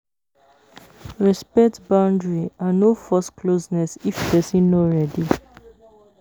Respect boundary and no force closeness if person no ready